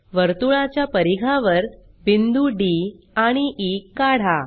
वर्तुळाच्या परिघावर बिंदू डी आणि ई काढा